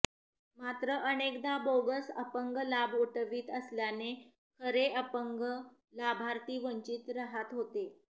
मात्र अनेकदा बोगस अपंग लाभ उठवीत असल्याने खरे अपंग लाभार्थी वंचित रहात होते